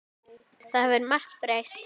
Það hefur margt breyst.